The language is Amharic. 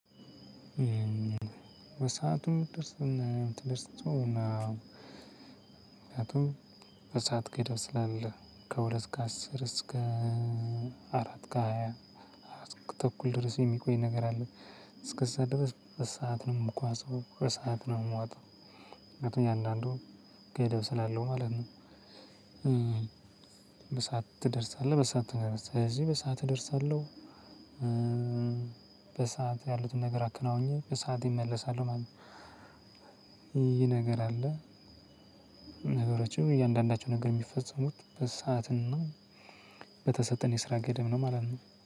በሰአቱ ደርሰውና ምክንያቱም በሰአት ገደብ ስላለ ከሁለት ከአስር እስከ አራት ከሃያ ተኩል ድረስ የሚቆይ ነገር አለ። እስከዛ ድረስ በሰአት ነው የምጓዘው በሰአት ነው የምዋጣው ምክንያቱም እያንዳንዱን ገደብ ስላለው ማለት ነው። በሰአት ትደርሳለህ በሰአት ትደርሳለህ ስለዚህ በሰአት እደርሳለሁ። በሰአት ያሉትን ነገር አከናውኘህ በሰአቴ እመለሳለሁ ማለት ነው። ይህ ነገር አለ። ነገሮችም እያንዳንዳቸው ነገር የሚፈጸሙት በሰአትና በተሰጠን የስራ ገደብ ነው ማለት ነው